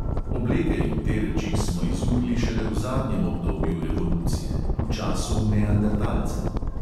Obleke in te reči smo izumili šele v zadnjem obdobju evolucije, v času neandertalca.